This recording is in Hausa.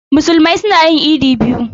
Musulmai suna yin idi biyu.